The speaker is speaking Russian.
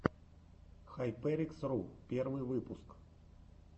хайперикс ру первый выпуск